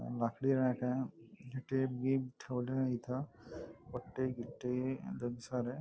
लाकडी रॅक आहे ठेवलय इथ पट्टे गीत्ते सारे--